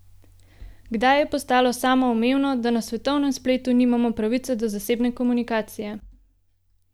Kdaj je postalo samoumevno, da na svetovnem spletu nimamo pravice do zasebne komunikacije?